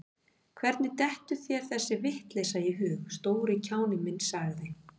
Hvernig dettur þér þessi vitleysa í hug, stóri kjáninn minn sagði